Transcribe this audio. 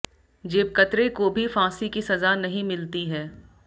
जेबकतरे को भी फांसी की सजा नहीं मिलती है